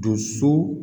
Doso